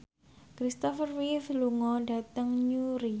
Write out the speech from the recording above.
Christopher Reeve lunga dhateng Newry